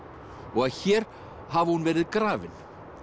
og að hér hafi hún verið grafin